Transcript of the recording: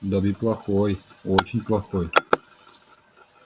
добби плохой очень плохой